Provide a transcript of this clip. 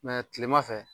kilema fɛ